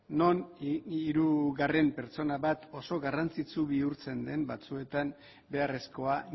non hirugarren pertsona bat oso garrantzitsu bihurtzen den batzuetan beharrezkoa